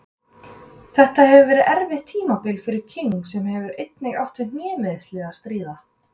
Þetta hefur verið erfitt tímabil fyrir King sem hefur einnig átt við hnémeiðsli að stríða.